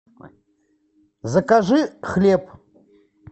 закажи хлеб